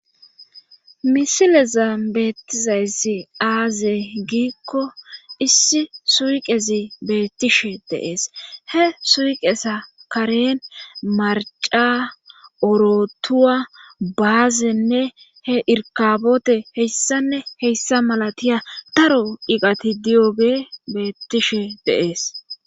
misileza beettizaysi aaze giikko issi suiqezi beettishe deees he suuqesa karen marca orotuwa baazenne he irkabote heyssanne heyssa malatiya taro iqati diyoge beettishe deees